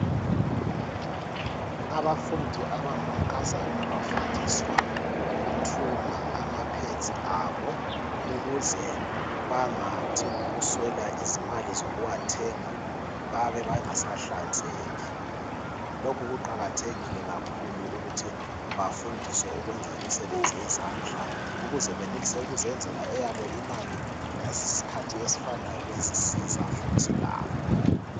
Abafundi abangamankazana abafundiswa ukuthunga amaphedzi abo ukuze bangathi ngokuswela izimali zokuwathenga babe bengasahlanzeki. Lokhu kuqakathekile kakhulu ukuthi bafundiswe ukwenza imisebenzi yezandla ukuze benelise ukuzenzela eyabo imali ngesikhathi esifanayo bezisiza futhi labo.